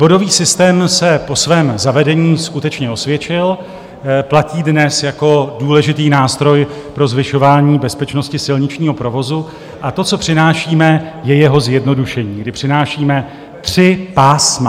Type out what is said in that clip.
Bodový systém se po svém zavedení skutečně osvědčil, platí dnes jako důležitý nástroj pro zvyšování bezpečnosti silničního provozu, a to, co přinášíme, je jeho zjednodušení, kdy přinášíme tři pásma.